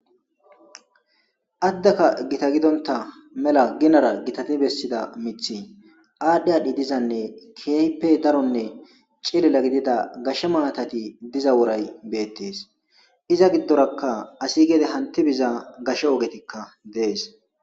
Adaka Gita gidonta mela ginara gitatida mithy adhi adhi dizanne keehippe Daronne cilila gidida gashe matati diza woray betes. Iza gidoraka asiy gede hanti biza gashe ogetika Des.